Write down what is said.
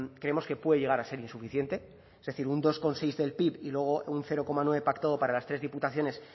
creemos que puede llegar a ser insuficiente es decir un dos coma seis del pib y luego un cero coma nueve pactado para las tres diputaciones